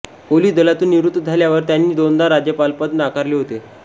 police दलातून निवृत्त झाल्यावर त्यांनी दोनदा राज्यपालपद नाकारले होते